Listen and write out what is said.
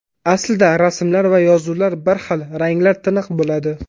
Aslida rasmlar va yozuvlar bir xil, ranglar tiniq bo‘ladi.